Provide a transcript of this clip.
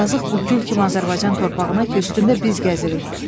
Yazıq bu gül kimi Azərbaycan torpağına ki, üstündə biz gəzirik.